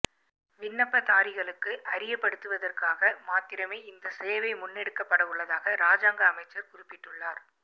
விண்ணப்பதாரிகளுக்கு அறியப்படுத்துவதற்காக மாத்திரமே இந்த சேவை முன்னெடுக்கப்படவுள்ளதாக ராஜாங்க அமைச்சர் குறிப்பிட்டுள்ளார்